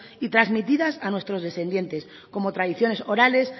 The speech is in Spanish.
y transmitidas a nuestros descendientes como tradiciones orales